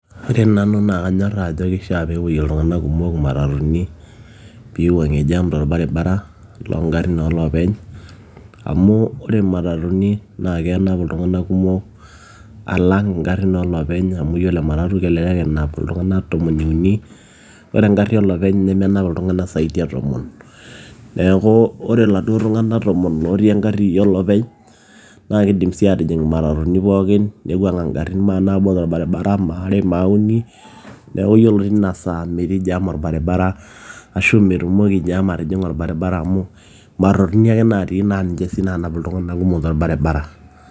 Ore nanu naa kanyoraaa ajo keishia peepoyie iltung'anak kumok imatatuni peiwuang'ie jam torbaribara loongarin ooloopeny amu ore imatatuni naa kenap iltung'anak kumom alang ingarin ooloopeny amu yiolo ematatu kelelek enap iltung'anak tomo uni ore engari olopeny nemenap iltung'anak zaidi neeku ore iladuo tung'anak tomon lootii engari olopeny naa keidim sii aatijing imatatuni pookin neiwuang'a ingarin kumok torbaribara maare maauni neeku yiolo tina saa metii jaam orbaribara ashuu metumoki jam atijing'a orbaribara amu matatuni ake naatii naaniche sii naanap iltung'anak kumok torbaribara.